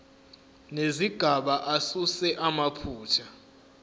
nezigaba asuse amaphutha